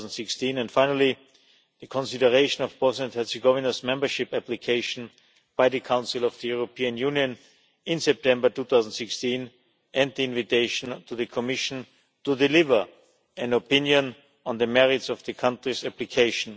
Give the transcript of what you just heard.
2016 and finally the consideration of Bosnia and Herzegovina's membership application by the Council of the European Union in September 2016 and the invitation to the Commission to deliver an opinion on the merits of the country's application.